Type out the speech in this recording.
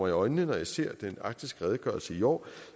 i øjnene når jeg ser den arktiske redegørelse i år